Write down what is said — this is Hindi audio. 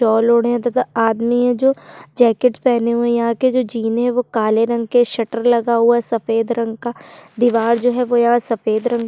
सॉल ओढ़े है तथा आदमी है जो जैकेट पहने हुई है यहाँ के जो जीने है वो काले रंग के शटर लगा हुआ है सफेद रंग का दिवार जो है वो सफेद रंग की-- --